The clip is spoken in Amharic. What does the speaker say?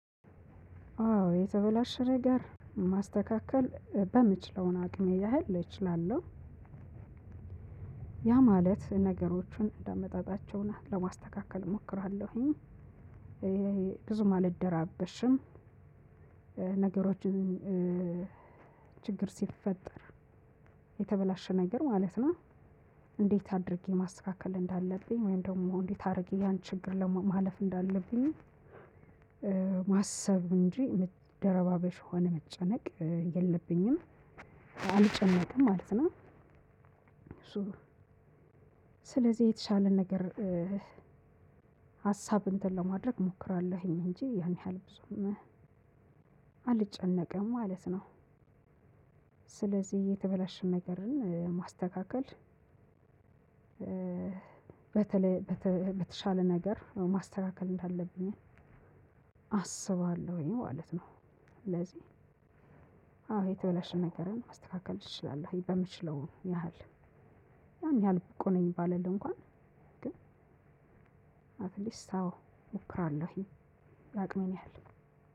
አዎ የተበላሸ ነገር ማስተካከል በምችለውን አቅሜ ያህል እችላለሁ። ያ ማለት ነገሮችን እንደመጣጣቸው ለማስተካከል እሞክራለሁኝ። ብዙም አልደራበሽም ነገሮችን ችግር ሲፈጠር የተበላሸ ነገር ማለት ነው እንዴት አድርጌ ማስተካከል እንዳለብኝ ወይም ደግሞ እንዴት አድርጌ ያን ችግር ለማለፍ እንዳለብኝ ማሰብ እንጂ ደረባበሽ ሆነ መጨነቅ የለብኝም አልጨነቅም ማለት ነው። ስለዚህ የተሻለ ነገር ሀሳብ እንትን ለማድረግ እሞክራለሁኝ እንጂ ያን ያህል ብዙም አልጨነቅም ማለት ነው። ስለዚህ እየተበላሸን ነገርን ማስተካከል በተለይ በተሻለ ነገር ማስተካከል እንዳለብኝ አስባለሁ ይሄ ማለት ነው ስለዚህ አዎ የተበላሸን ነገርን ማስተካከል እችላለሁ። በምችለው ያህል ያን ያህል ብቁ ነኝ ባለል እንኳን ግን አት ሊስት አዎ እሞክራለሁኝ ያቅሜን ያህል